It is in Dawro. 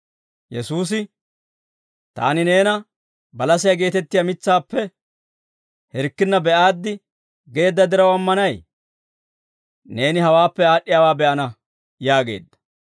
Yesuusi, «Taani neena balasiyaa geetettiyaa mitsaappe hirkkinna be'aaddi geedda diraw ammanay? Neeni hawaappe aad'd'iyaawaa be'ana!» yaageedda.